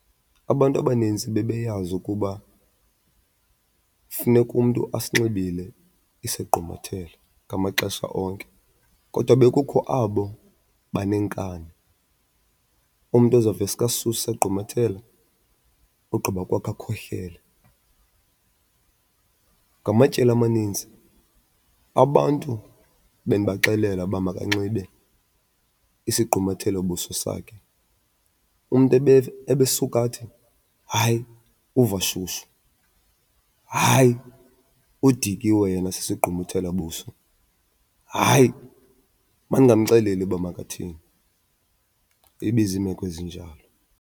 Abantu abanintsi bebeyazi ukuba funeka umntu asinxibile isigqumathelo ngamaxesha onke kodwa bekukho abo baneenkani. Umntu ozawuveske asuse isagqumathelo ogqiba kwakhe akhohlele. Ngamatyeli amaninzi abantu bendibaxelela uba makanxibe isigqumathelobuso sakhe, umntu ebesuka athi hayi uva shushu, hayi udikiwe yena sisigqumathelabuso, hayi mandingamxeleli uba makathini. Ibizimeko ezinjalo.